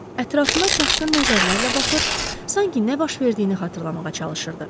Ətrafına çaşqın nəzərlərlə baxır, sanki nə baş verdiyini xatırlamağa çalışırdı.